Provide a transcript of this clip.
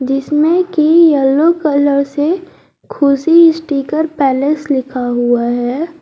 जिसमें की yellow colour से खुशी स्टीकर पैलेस लिखा हुआ है।